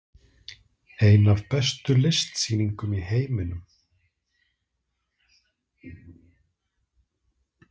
Ein af bestu listsýningum í heiminum